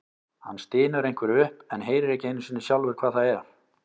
Hann stynur einhverju upp en heyrir ekki einu sinni sjálfur hvað það er.